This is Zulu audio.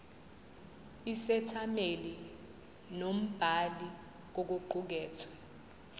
isethameli nombhali kokuqukethwe